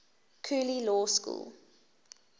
cooley law school